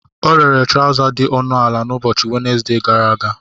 Ọ rere trọza dị ọnụ ala n'ụbọchị Wenezde gara aga.